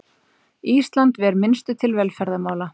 Ísland ver minnstu til velferðarmála